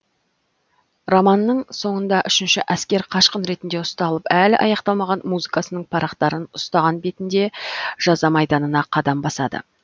романның соңында үшінші әскер қашқын ретінде ұсталып әлі аяқталмаған музыкасының парақтарын ұстаған бетінде жаза майданына қадам басады